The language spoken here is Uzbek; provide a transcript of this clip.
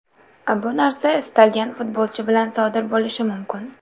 Bu narsa istalgan futbolchi bilan sodir bo‘lishi mumkin.